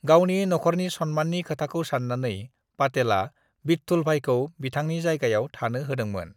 "गावनि नखरनि सनमाननि खोथाखौ सान्नानै, पाटेला विट्ठलभाईखौ बिथांनि जायगायाव थांनो होदोंमोन।"